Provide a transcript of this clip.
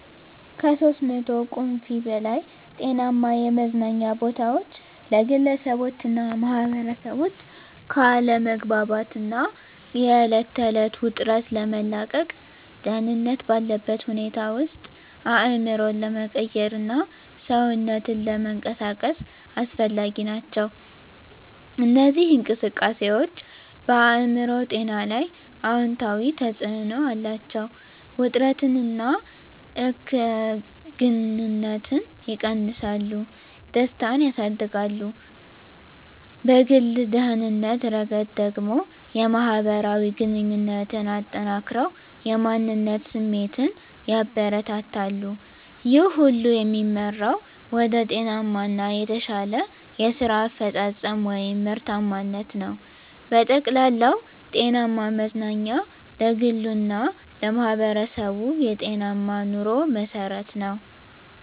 (ከ300 ቁምፊ በላይ) ጤናማ የመዝናኛ ቦታዎች ለግለሰቦችና ማኅበረሰቦች ከአለመግባባት እና የዕለት ተዕለት ውጥረት ለመላቀቅ፣ ደህንነት ባለበት ሁኔታ ውስጥ አእምሮን ለመቀየርና ሰውነትን ለመንቀሳቀስ አስፈላጊ ናቸው። እነዚህ እንቅስቃሴዎች በአእምሮ ጤና ላይ አዎንታዊ ተጽዕኖ አላቸው፤ ውጥረትን እና እከግንነትን ይቀንሳሉ፣ ደስታን ያሳድጋሉ። በግል ደህንነት ረገድ ደግሞ፣ የማህበራዊ ግንኙነትን አጠናክረው የማንነት ስሜትን ያበረታታሉ። ይህ ሁሉ የሚመራው ወደ ጤናማ እና የተሻለ የስራ አፈጻጸም (ምርታማነት) ነው። በጠቅላላው፣ ጤናማ መዝናኛ ለግሉ እና ለማህበረሰቡ የጤናማ ኑሮ መሠረት ነው።